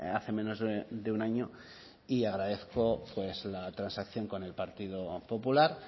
hace menos de un año y agradezco la transacción con partido popular